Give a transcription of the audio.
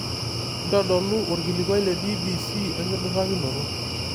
ntodolu orkilikuai le b.b.c enkidurakinoto